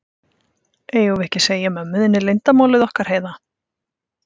Eigum við ekki að segja mömmu þinni leyndarmálið okkar, Heiða?